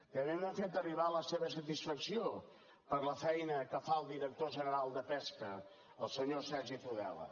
també m’han fet arribar la seva satisfacció per la feina que fa el director general de pesca el senyor sergi tudela